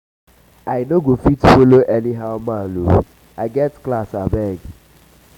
i no go um fit follow um anyhow man oo i get class abeg